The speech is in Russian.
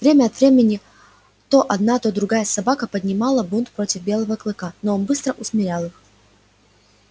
время от времени то одна то другая собака поднимала бунт против белого клыка но он быстро усмирял их